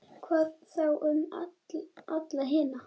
Hvað þá um alla hina?